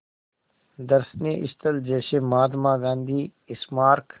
दर्शनीय स्थल जैसे महात्मा गांधी स्मारक